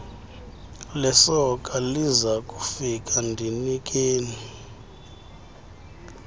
lesoka lizakufika ndinikeni